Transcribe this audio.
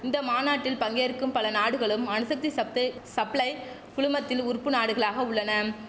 இந்த மாநாட்டில் பங்கேற்கும் பல நாடுகளும் அணுசக்தி சத்து சப்ளை குழுமத்தில் உறுப்பு நாடுகளாக உள்ளனம்